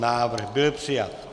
Návrh byl přijat.